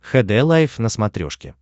хд лайф на смотрешке